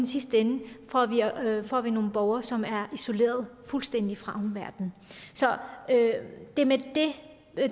sidste ende får vi nogle borgere som er isoleret fuldstændig fra omverdenen så det er med